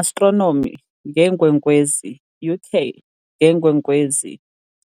Astronomy, ngeenkwenkwezi, UK- ngeenkwenkwezi,